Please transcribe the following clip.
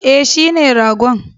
E, shine ragon.